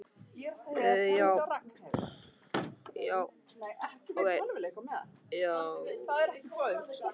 Sennilega er það lögun rykagnanna, sem myndast af dýrunum, sem ráða mestu um einkennin.